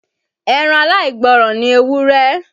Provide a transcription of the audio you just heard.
Ẹran aláìgbọ́ràn ni ewúré.